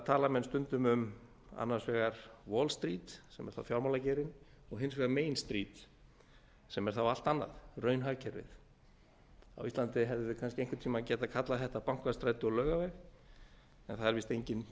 tala menn stundum um annars vegar wallstreet sem er fjármálageirinn og hins vegar meinstreet sem er þá allt annað raunhagkerfið á íslandi hefðum við einhvern tíma getað kallað þetta bankastræti og laugaveg en það er víst enginn